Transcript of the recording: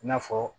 I n'a fɔ